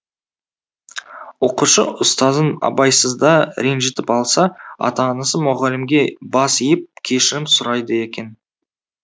оқушы ұстазын абайсызда ренжітіп алса ата анасы мұғалімге бас иіп кешірім сұрайды екен